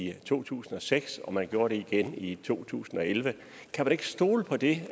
i to tusind og seks og man gjorde det igen i to tusind og elleve kan man ikke stole på det